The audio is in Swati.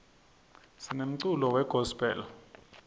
sinemculo we gospel